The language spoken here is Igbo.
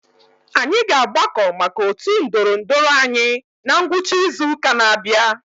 Anyị ga-agbakọ maka otu ndorondoro anyị na ngwụcha izu ụka na-abịa.